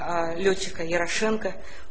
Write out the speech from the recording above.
лётчика ярошенко